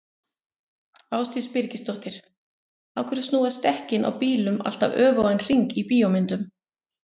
Ásdís Birgisdóttir: Af hverju snúast dekkin á bílum alltaf öfugan hring í bíómyndum?